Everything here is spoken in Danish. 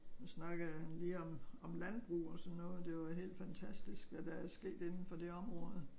Nu snakkede jeg lige om om landbrug og sådan noget det jo helt fantastisk hvad der er sket inden for det område